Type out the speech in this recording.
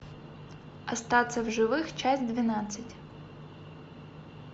остаться в живых часть двенадцать